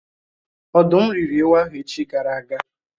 Ọ̀dụ́m rị́ri ewu ahụ echi gara aga